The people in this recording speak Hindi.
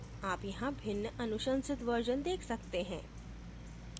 आप यहाँ भिन्न अनुशंसित version देख सकते हैं